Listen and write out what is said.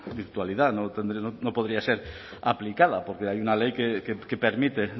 virtualidad no podría ser aplicada porque hay una ley que permite